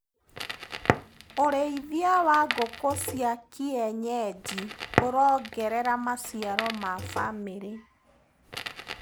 ũrĩithia wa ngũku cia kienyeji ũrongerera maciaro ma famĩrĩ.